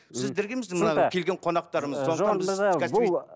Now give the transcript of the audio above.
сіздерге емес мына келген қонақтарымызға